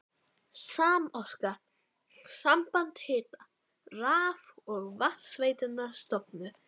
Samorka, samband hita-, raf- og vatnsveitna, stofnuð.